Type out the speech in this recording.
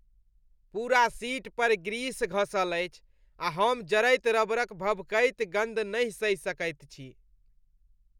पूरा सीट पर ग्रीस घँसल अछि आ हम जरैत रबरक भभकैत गन्ध नहि सहि सकैत छी।